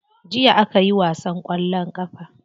Jiya akayi wasan kwallon kafa.